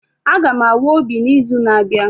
Aga m awa obi n'izu na-abịa